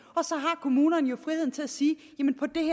og så har kommunerne jo friheden til at sige